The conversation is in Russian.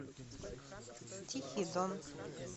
тихий дон